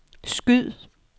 skyd